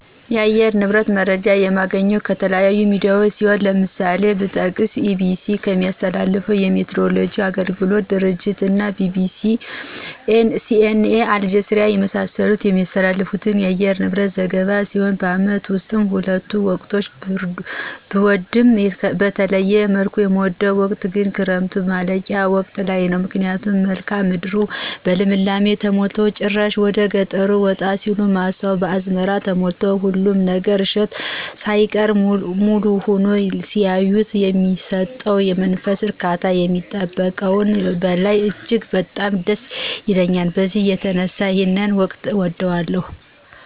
የአየር ንብረት መረጃ የማገኘው ከተለያዩ ሚዲያዎች ሲሆን ለምሳሌ ብጠቅስ EBC ከሚያስተላልፈው የሚቲይወሎጂ አገልግሎት ድርጅት እና BBC:CNA:አልጀዚራ የመሳሰሉት የሚያስተላልፉት የአየር ንብረት ዘገባ ሲሆን በአመት ውስጥ ሁሉንም ወቅቶች ብወድም በተለየ መልኩ የምወደው ወቅት ግን የክረምቱ ማለቂያ ወቅት ላይ ነው ምክንያቱም መልክአ ምድሩ በልምላሜ ተሞልቶ ጭራሽ ወደገጠር ወጣ ሲሉ ማሳው በአዝመራ ተሞልቶ ሁሉም ነገር እሸቱ ሳይቀር ሙሉ ሁኖ ሲያዩት የሚሰጠው የመንፈስ እርካታ ከሚጠበቀው በላይ እጅግ በጣም ደስ ይለኛል በዚህ የተነሳ ይሄን ወቅት እወደዋለሁ።